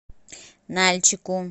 нальчику